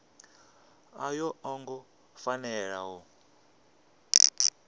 a yo ngo fanela u